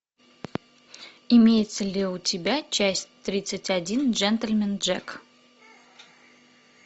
имеется ли у тебя часть тридцать один джентльмен джек